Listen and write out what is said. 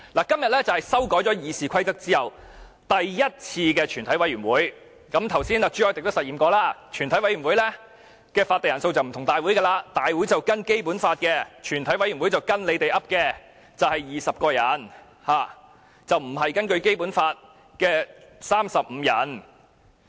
今天是修改《議事規則》後第一次舉行全體委員會，剛才朱凱廸議員也實驗過，全委會的法定人數與大會不同，大會的法定人數是根據《基本法》規定，全委會的法定人數則是建制派決定的20人，而不是《基本法》規定的35人。